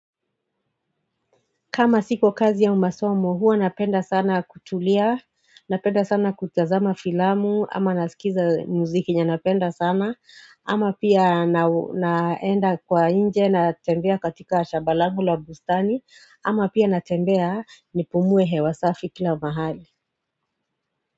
Kama siko kazi ya umasomo, huwa napenda sana kutulia, napenda sana kutazama filamu, ama nasikiza muziki yenye napenda sana, ama pia naenda kwa inje na tembea katika shabalangu la bustani, ama pia na tembea nipumuwe hewasafi kila mahali.